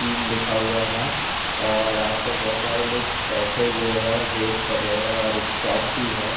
तीन लिखा हुआ है और आसपास बहुत सारे लोग बैठे हुए हैं। वेट कर रहे हैं और एक शॉप भी है।